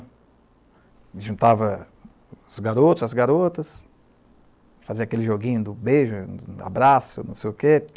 A gente juntava os garotos, as garotas, fazia aquele joguinho do beijo, abraço, não sei o quê.